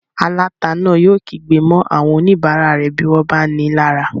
Aláta náà yóò kígbe mọ́ àwọn oníbàárà rẹ̀ bí wọ́n bá nií lára